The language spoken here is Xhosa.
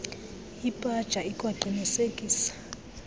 ipaja ikwaqinise kisa